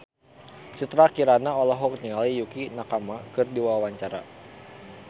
Citra Kirana olohok ningali Yukie Nakama keur diwawancara